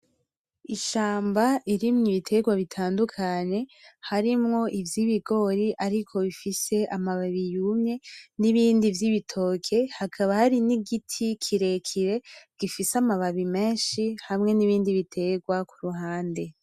Ishamba irimwo ibiterwa bitandukanye harimwo ivy'ibigori ariko bifise amababi yumye ,n'ibindi vy'ibitoke hakaba hari n'igiti kirekire gifise amababi menshi ,hamwe n'ibindi biterwa kuruhande.